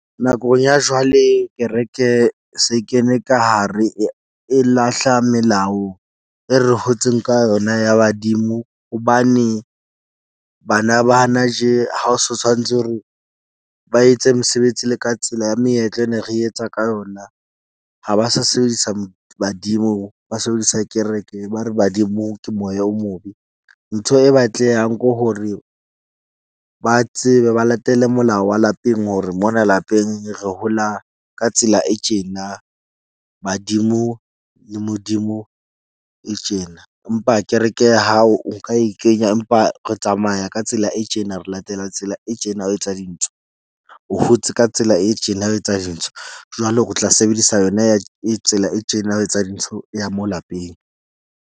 Nakong ya jwale kereke se kene ka hare. E lahla melao e re hotseng ka yona ya badimo hobane bana ba ha na tje ha o so tshwanetse hore ba etse mesebetsi le ka tsela ya meetlo e ne re etsa ka yona. Ha ba sa sebedisa badimo, ba sebedisa kereke. Ba re badimo ke moya o mobe. Ntho e batlehang ko hore ba tsebe ba latele molao wa lapeng hore mona lapeng re hola ka tsela e tjena, badimo le Modimo e tjena. Empa kereke ya hao o nka e e kenya, empa re tsamaya ka tsela e tjena. Re latela tsela e tjena ho etsa dintho o hotse ka tsela e tjena ya ho etsa dintho. Jwale o tla sebedisa yona ya tsela e tjena ya ho etsa dintho ya mo lapeng.